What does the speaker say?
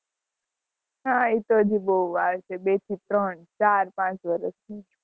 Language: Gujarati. હ એ તો હજી બહુ વાર છે બે થી ત્રણ ચાર પાંચ વર્ષ ની